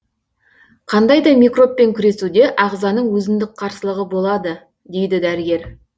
қандай да микробпен күресуде ағзаның өзіндік қарсылығы болады дейді дәрігер